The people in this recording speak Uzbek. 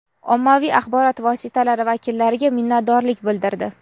ommaviy axborot vositalari vakillariga minnatdorlik bildirdi.